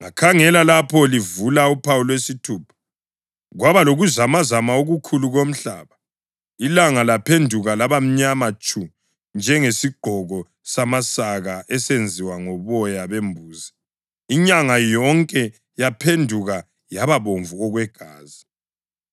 Ngakhangela lapho livula uphawu lwesithupha. Kwaba lokuzamazama okukhulu komhlaba. Ilanga laphenduka laba mnyama tshu njengesigqoko samasaka esenziwe ngoboya bembuzi, inyanga yonke yaphenduka yaba bomvu okwegazi,